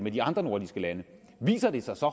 i de andre nordiske lande viser det sig så